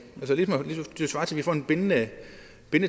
svarer til at vi får en bindende